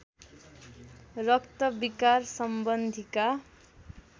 रक्त विकार सम्बन्धीका